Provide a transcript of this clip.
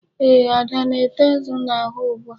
Eeh, Ada na-ete nzu n'ahụ ugbu a.